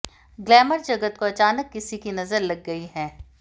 glamour जगत को अचानक किसी की नज़र लग गई है